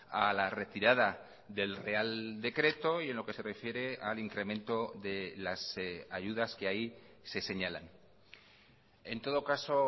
a la retirada del real decreto y en lo que se refiere al incremento de las ayudas que ahí se señalan en todo caso